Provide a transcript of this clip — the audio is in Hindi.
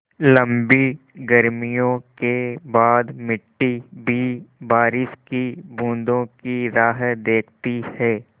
लम्बी गर्मियों के बाद मिट्टी भी बारिश की बूँदों की राह देखती है